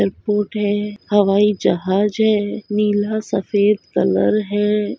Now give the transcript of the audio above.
Airport है हवाई जहाज है नीला सफ़ेद कलर है।